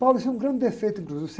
isso é um grande defeito, inclusive.